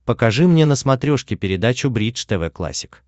покажи мне на смотрешке передачу бридж тв классик